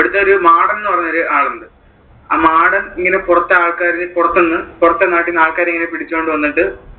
അവിടത്തെ ഒരു മാടൻ എന്ന് പറയുന്ന ഒരു ആള് ഉണ്ട്, ആ മാടൻ ഇങ്ങനെ പുറത്ത് ആൾക്കാരെ പുറത്തു നിന്ന് പുറത്തെ നാട്ടിലെ ആൾക്കാരെ ഇങ്ങനെ പിടിച്ചുകൊണ്ട് വന്നിട്ട്,